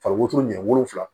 Fa wotoro ɲɛ wolonfila